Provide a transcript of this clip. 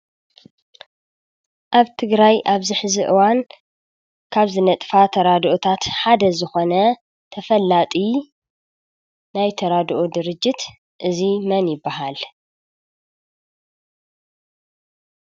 ኣብ ትግራይ ኣብ ዝሕዚ እዋን ካብ ዝነጥፋ ተራደኦታት ሓደ ዝኮነ ተፈላጢ ናይ ተራደኦ ድርጅት እዚ መን ይበሃል ?